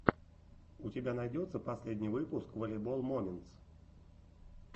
у тебя найдется последний выпуск волейбол моментс